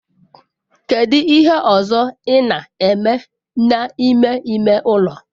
Kedu ihe ọzọ ị na-eme n'ime ime ụlọ?